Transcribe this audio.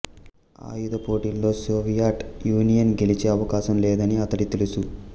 ఆయుధ పోటీలో Soviet Union గెలిచే అవకాశం లేదని అతడికి తెలుసు